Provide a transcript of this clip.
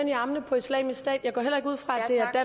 i armene på islamisk stat jeg går heller ikke ud fra